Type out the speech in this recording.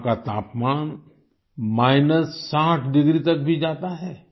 यहाँ का तापमान माइनस 60 डिग्री तक भी जाता है